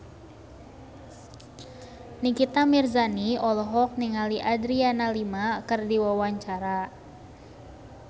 Nikita Mirzani olohok ningali Adriana Lima keur diwawancara